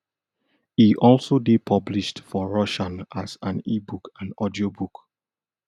e also dey published for russian as an ebook and audiobook